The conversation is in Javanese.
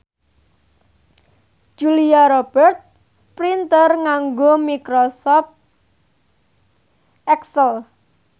Julia Robert pinter nganggo microsoft excel